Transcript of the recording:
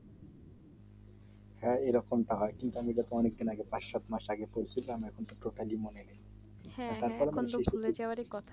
হ্যাঁ এরকমটা হয় কিন্তু আমি অনেক দিন আগে পাঁচ সাত মাস আগে পড়ছিলাম এখনতো profile মনে নেই